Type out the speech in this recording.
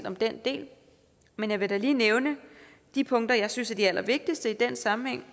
om den del men jeg vil da lige nævne de punkter jeg synes er de allervigtigste i den sammenhæng